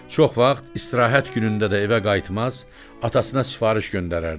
Çox vaxt istirahət günündə də evə qayıtmaz, atasına sifariş göndərərdi.